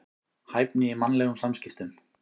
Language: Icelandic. Hæfni í mannlegum samskiptum.